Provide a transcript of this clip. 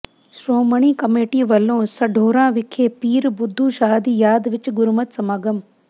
Shiromani committee ਵਲੋਂ ਸਢੌਰਾ ਵਿਖੇ ਪੀਰ ਬੁੱਧੂ ਸ਼ਾਹ ਦੀ ਯਾਦ ਵਿਚ ਗੁਰਮਤਿ ਸਮਾਗਮ